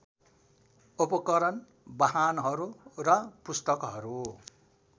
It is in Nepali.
उपकरण वाहनहरू र पुस्तकहरू